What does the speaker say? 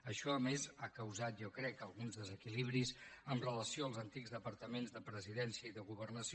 això a més ha causat jo crec alguns desequilibris amb relació als antics departaments de presidència i de governació